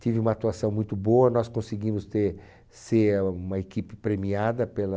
Tive uma atuação muito boa, nós conseguimos ter, ser uma equipe premiada pelo...